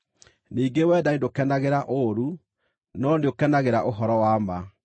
Ningĩ wendani ndũkenagĩra ũũru, no nĩũkenagĩra ũhoro wa ma.